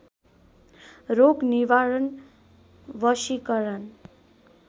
रोग निवारण वशीकरण